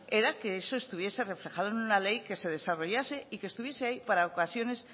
era que eso estuviese reflejado en una ley que se desarrollase y que estuviese ahí para ocasiones